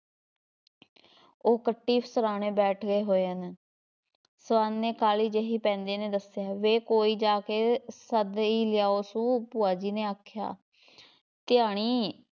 ਉਹ ਕੱਟੀ ਸਰ੍ਹਾਨੇ ਬੈਠੇ ਹੋਏ ਨੇ ਸਵਰਨ ਨੇ ਕਾਹਲੀ ਜਿਹੀ ਪੈਂਦੀ ਨੇ ਦੱਸਿਆ, ਵੇ ਕੋਈ ਜਾ ਕੇ ਸੱਦ ਈ ਲਿਆਓ ਸੂ ਭੂਆ ਜੀ ਨੇ ਆਖਿਆ ਧਿਆਣੀ,